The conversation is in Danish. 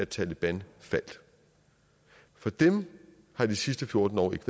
taleban faldt for dem har de sidste fjorten år ikke